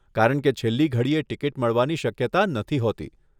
કારણકે છેલ્લી ઘડીએ ટીકીટ મળવાની શક્યતા નથી હોતી.